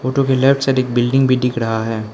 जो कि left side एक बिल्डिंग भी दिख रहा है।